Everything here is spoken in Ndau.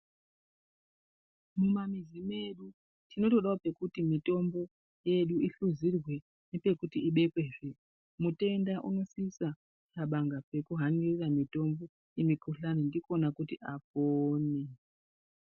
Mumamizi medu tinondodawo pekuti mitombo yedu ihluzirwe nepekuti ibekwezve mutenda unosisa kuxabanga pekuhanira mitombo yemikuhlani ndikona kuti apone.